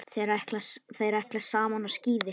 Þeir ætla saman á skíði.